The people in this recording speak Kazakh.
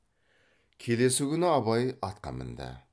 келесі күні абай атқа мінді